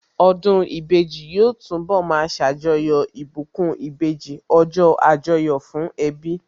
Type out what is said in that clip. Ọdún ìbejì yóò túnbọ̀ ma ṣàjọyọ̀ ìbùkún ìbejì, ọjọ́ Àjọyọ̀ fún ẹbí